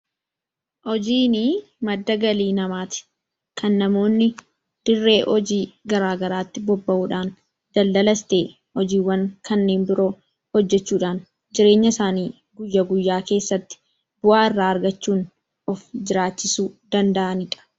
Hojiin maddaa galii namatti. Kan namoonni diree hojii gara garaatti boba'uudhaan daldalaas ta'e hojiiwwaan kanneen biroodhaan jireenya isaani guyyaa guyyaa keessatti bu'aa iirra argachuun of jirachisuu danda'anidha.